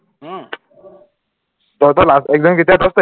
তহঁতৰ last exam কেতিয়া দছ তাৰিখে